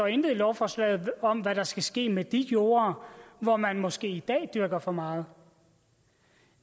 intet i lovforslaget står om hvad der skal ske med de jorder hvor man måske i dag dyrker for meget